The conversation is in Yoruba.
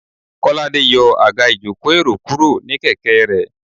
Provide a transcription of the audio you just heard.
kolade yòò agá ìjokò- erò kuro ní kẹkẹ re